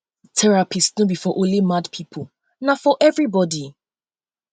therapist no be for only mad pipo na for everybody